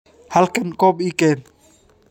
Halkan koob ii keen